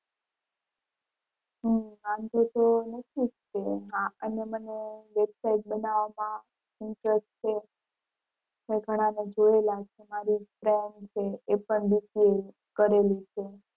હમ વાંધો તો નથી જ તે એમાં અને મને website બનાવમાં interest છે ઘણા મે જોયેલા છે મારી friend છે એ પણ BCA કરેલી છે.